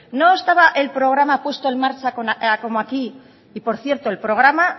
no estaba el programa puesto en marcha como aquí y por cierto el programa